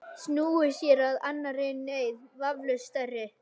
Snúið sér að annarri neyð, vafalaust stærri.